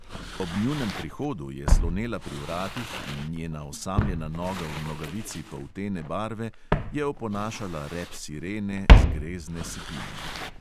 Ob njunem prihodu je slonela pri vratih in njena osamljena noga v nogavici poltene barve je oponašala rep sirene z grezne sipine.